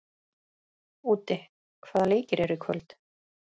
Úddi, hvaða leikir eru í kvöld?